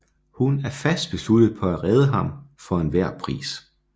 Hun er fast besluttet på at redde ham for enhver pris